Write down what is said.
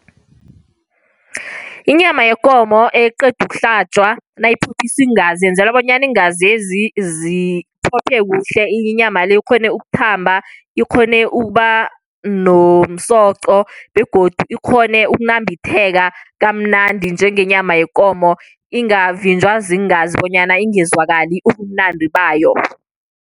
Inyama yekomo eqeda ukuhlatjwa, nayiphophiswa iingazi yenzelwa bonyana iingazezi ziphophe kuhle. Inyama le ikghone ukuthamba, ikghone ukuba nomsoqo, begodu ikghone kunambitheka kamnandi njengenyama yekomo. Ingavinjwa ziingazi bonyana ingezwakali ubumnandi bayo.